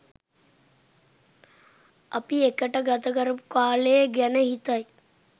අපි එකට ගත කරපු කාලේ ගැන හිතයි